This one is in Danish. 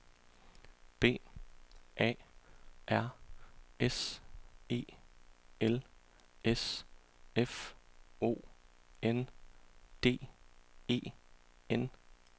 B A R S E L S F O N D E N